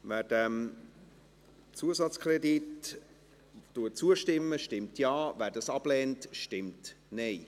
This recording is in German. Wer diesem Zusatzkredit zustimmt, stimmt Ja, wer diesen ablehnt, stimmt Nein.